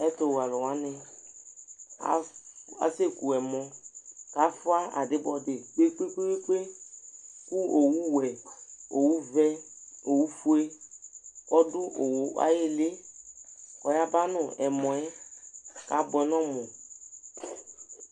Ɛtʋwɛalʋwanɩ as aseku ɛmɔ: k'afʋa adɩbɔdɩ kpekpekpekpekpe! Kʋ owuwɛ, owuvɛ, owufue , ɔdʋ owu ay'ɩɩlɩ , k'ayaba n'ɛmɔɛ , k'abʋɛ n'ɔmʋ